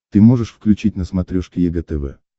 ты можешь включить на смотрешке егэ тв